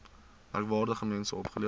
merkwaardige mense opgelewer